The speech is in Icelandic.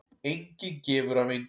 Enginn gefur af engu.